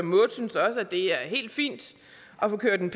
det er helt fint at få kørt en